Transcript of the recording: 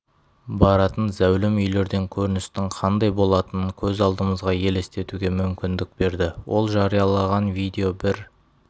баратын зәулім үйлерден көріністің қандай болатынын көз алдымызға елестетуге мүмкіндік берді ол жариялаған видео бір